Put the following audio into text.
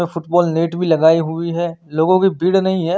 यहाँ football net भी लगाई हुई है लोगो कि भीड़ नही है।